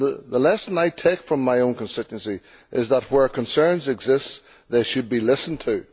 The lesson I take from my own constituency is that, where concerns exist, they should be listened to.